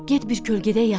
Get bir kölgədə yat.